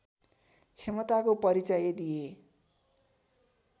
क्षमताको परिचय दिए